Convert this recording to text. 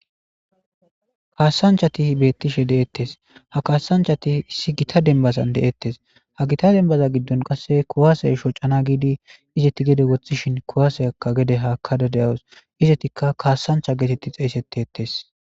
Kaassanchati beettishe deettes ha kaassanchati issi gita dembazan de7ettes ha gita dembaza giddon qasse kuwaase shocana giidi izetti gede woththishin kuwaseyakka gede haakadadeyawus izetikka kaassancha geetetti xeeysettiettes.